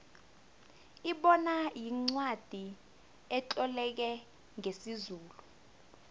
ibona yincwacli etloleke ngesizulu